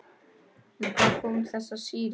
En hvaðan koma þessar sýrur?